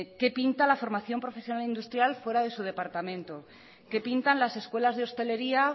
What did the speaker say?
qué pinta la formación profesional industrial fuera de su departamento qué pintan las escuelas de hostelería